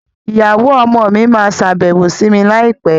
Ìyàwó ọmọ mi máa sábẹ́wó sí mi láì pé